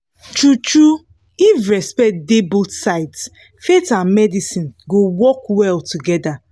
true-true if respect dey both both sides faith and medicine go work well together